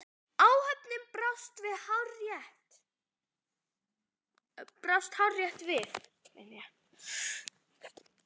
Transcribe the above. Áhöfnin brást hárrétt við.